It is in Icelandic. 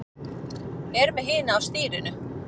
Er með hina á stýrinu.